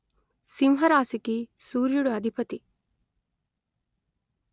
సింహరాశికి సూర్యుడు అధిపతి